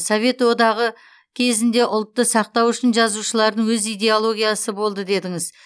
совет одағы кезінде ұлтты сақтау үшін жазушылардың өз идеологиясы болды дедіңіз